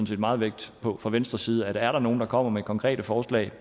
set meget vægt på fra venstres side er der nogen der kommer med konkrete forslag